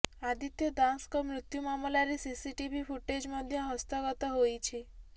ଆଦିତ୍ୟ ଦାଶଙ୍କ ମୃତ୍ୟୁ ମାମଲାରେ ସିସିଟିଭି ଫୁଟେଜ୍ ମଧ୍ୟ ହସ୍ତଗତ ହୋଇଛି